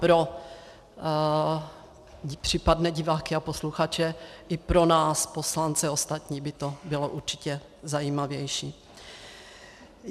Pro případné diváky a posluchače i pro nás poslance ostatní by to bylo určitě zajímavější.